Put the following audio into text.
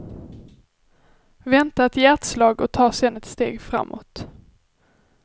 Vänta ett hjärtslag och ta sedan ett steg framåt.